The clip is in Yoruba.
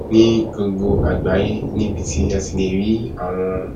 ní gbogbo àgbáyé níbi tí a ti lè rí àwọn